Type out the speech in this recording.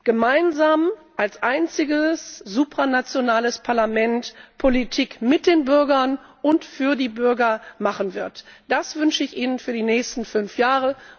Gemeinsam als einziges supranationales Parlament Politik mit den Bürgern und für die Bürger machen das wünsche ich Ihnen für die nächsten fünf Jahre!